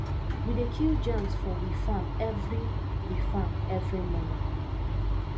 we dey kill germs for we farm every we farm every morning